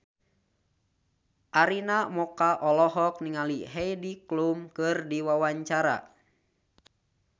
Arina Mocca olohok ningali Heidi Klum keur diwawancara